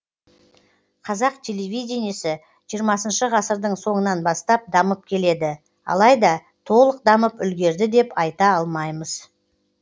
қазақ телевидениесі жиырмасыншы ғасырдың соңынан бастап дамып келеді алайда толық дамып үлгерді деп айта алмаймыз